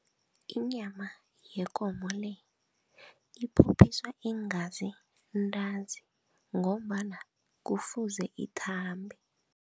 Inyama yekomo le, iphophiswa iingazi ntanzi ngombana kufuze ithambe.